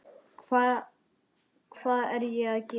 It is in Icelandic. Hvað er ég að gera?